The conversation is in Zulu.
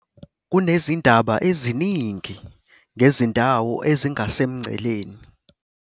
kunezindaba eziningi ngezindawo ezingasemngceleni